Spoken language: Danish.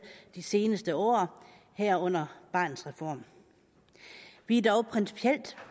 de seneste år herunder barnets reform vi er dog principielt